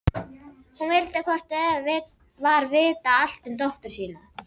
Hún vildi hvort eð var vita allt um dóttur sína.